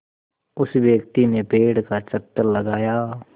उस व्यक्ति ने पेड़ का चक्कर लगाया